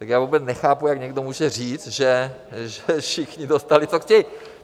Tak já vůbec nechápu, jak někdo může říct, že všichni dostali, co chtějí.